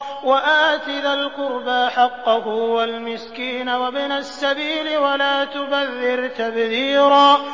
وَآتِ ذَا الْقُرْبَىٰ حَقَّهُ وَالْمِسْكِينَ وَابْنَ السَّبِيلِ وَلَا تُبَذِّرْ تَبْذِيرًا